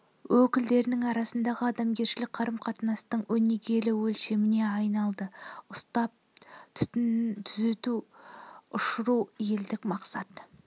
өкілдерінің арасындағы адамгершілік қарым-қатынастың өнегелі өлшеміне айналды ұстап түтінін түзу ұшыру елдік мақсат